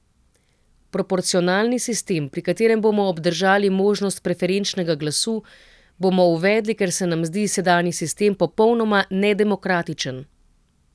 Proporcionalni sistem, pri katerem bomo obdržali možnost preferenčnega glasu, bomo uvedli, ker se nam zdi sedanji sistem popolnoma nedemokratičen.